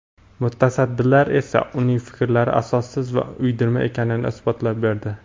Mutasaddilar esa uning fikrlari asossiz va uydirma ekanini isbotlab berdi.